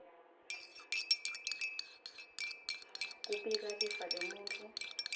kubika lifa lemuntfu